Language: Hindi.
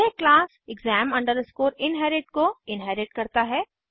यह क्लास exam inherit को इन्हेरिट करता है